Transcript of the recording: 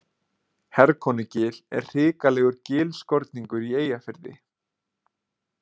Herkonugil er hrikalegur gilskorningur í Eyjafirði.